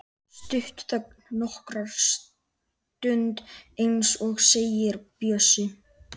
Stutt þögn nokkra stund en svo segir Bjössi